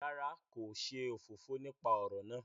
Rárá, ko ṣe òfófó nípa ọrọ náà